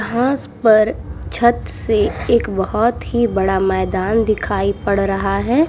घास पर छत से एक बोहोत ही बड़ा मैदान दिखाई पड़ रहा है।